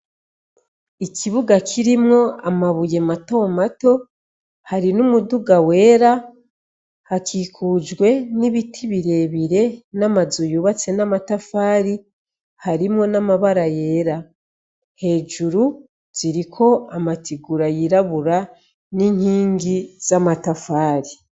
Ikibuga kirimwo amabuye matomato hari n'umuduga wera hakikujwe n'ibiti birebire n'amazuyubatse n'amatafari harimwo n'amabara yera hejuru ziriko amatigura yirabura n'inkingi za matafari.